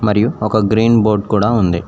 మరియు ఒక green board కూడా ఉంది.